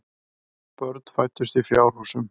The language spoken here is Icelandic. Börn fæddust í fjárhúsum.